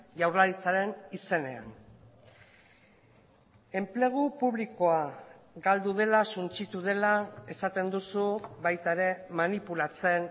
jaurlaritzaren izenean enplegu publikoa galdu dela suntsitu dela esaten duzu baita ere manipulatzen